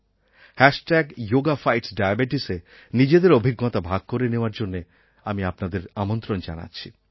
hashtag yoga fights ডায়াবেটিসএ নিজেদের অভিজ্ঞতা ভাগ করে নেওয়ার জন্য আমি আপনাদের আমন্ত্রণ জানাচ্ছি